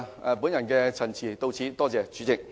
我謹此陳辭，多謝代理主席。